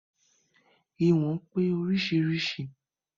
Ìwọ̀n pé oríṣiríṣi